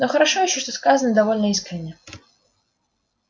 но хорошо ещё что сказано довольно искренне